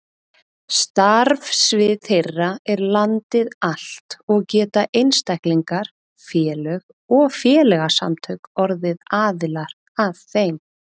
Starfsvið þeirra er landið allt og geta einstaklingar, félög og félagasamtök orðið aðilar að þeim.